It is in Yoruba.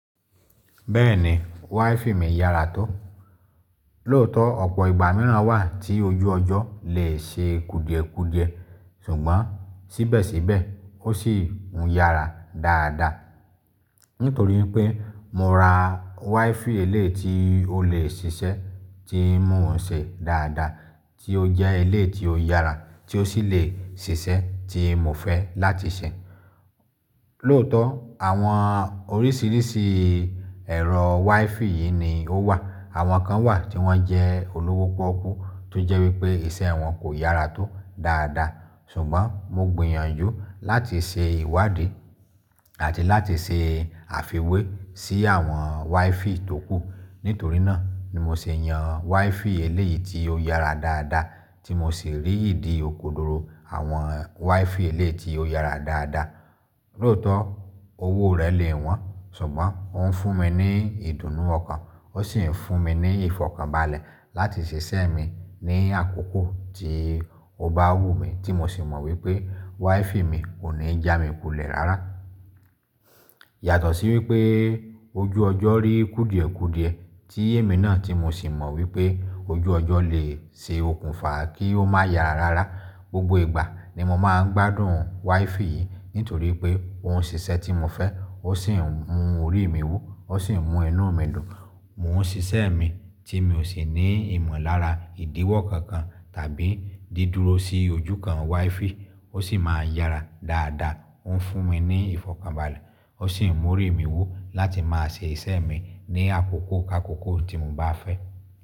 Bẹ́ẹ̀ni, WiFi mi yára tó. Lóòótọ́ ọ̀pọ̀ ìgbà naa wà tí ojú ọjọ́ lè ṣe kudiẹ̀kudiẹ̀ ṣùgbọ́n síbẹ̀síbẹ̀ ó sì ń yára dáadáa. Nítorí pé mo ra WiFi eleyi tí ó lè ṣiṣẹ́, tí ń mú òun ṣe dáadáa, tí ó jẹ́ eleyi tí ó yára tí ó sì lè ṣiṣẹ́ tí mo fẹ́ láti ṣẹ. Lóòótọ́ àwọn oríṣìíríṣìí ẹ̀rọ WiFi yìí ni ó wà. Àwọn kan wà tí wọ́n jẹ́ olówó pọ́kú tó jẹ́ wípé ìṣe wọn kò yára tó dáadáa. Ṣùgbọ́n mo gbìyànjú láti ṣe ìwádìí àti láti ṣe àfiwé sí àwọn WiFi tókù. Nítorínà ni mo ṣe yan WiFi eleyi tí ó yára dáadáa tí mo sì rí ìdí òkodoro àwọn WiFi eleyi ti ó yára dáadáa. Lóòótọ́ owó rẹ̀ lè wọ́n ṣùgbọ́n ó ń fún mi ní ìdùnnú ọkàn ó sì ń fún mi ní ìfọ̀kànbalẹ̀ láti ṣe iṣẹ́ mi ní àkókò tí ó bá wù mí tí mo sì mọ̀ wípé WiFi mi kò ní jámi kulẹ̀ rárá. Yàtọ̀ sí wípé ojú ọjọ́ rí kudiẹ̀kudiẹ̀ tí èmi náà tí mo sì mọ̀ wípé ojú ọjọ́ lè ṣe okùnfà kí ó má yara rárá. Gbogbo ìgbà ni mo máa ń gbádùn WiFi yìí nítorí pé òun ń ṣiṣẹ́ tí mo fẹ́, ó sì ń mú orí mi wù, ó sì ń mú inú mi dùn. Mò ń ṣe iṣẹ́ mi tí mi ò sì ní ìmọ̀lára ìdíwọ̀ kankan tàbí dídúró sí ojú kan WiFi. Ó sì máa ń yára dáadáa ó ń fún mi ní ìfọ̀kànbalẹ̀, ó sì ń mú orí mi wù láti máa ṣe iṣẹ́ mi ní àkókò kakókò tí mo bá fẹ́.